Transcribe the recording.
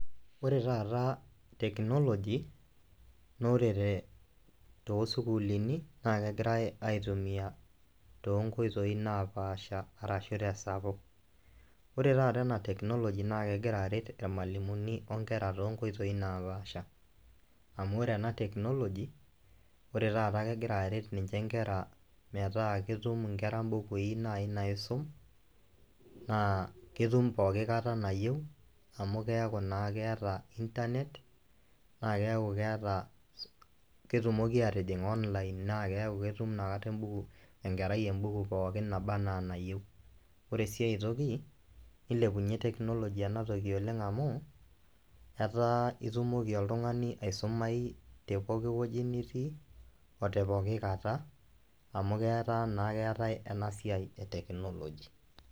Ore taata teknoloji naa ore te too sukuulini naake egirai aitumia too nkoitoi napaasha arashu te sapuk. Ore taata ena teknoloji naake egira aret irmalimuni o nkera too nkoitoi napaasha amu ore ena teknoloji, ore taata kegira aret ninje nkera metaa ketum nkera mbukui nai naisum naa ketum pooki kata nayeu amu keeku naa keeta intanet naake keeku keeta ketumoki aatijing online naa keeku ketum inakata embuku enkerai embuku pookin naba enaa enayeu. Ore sii ai toki nilepunye teknoloji ena toki oleng' amu etaa itumoki oltung'ani aisumayu te poki wueji nitii o te poki kata amu ketaa naa keetai ena siai e teknoloji.